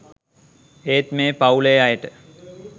ඒත් මේ පවුලේ අයට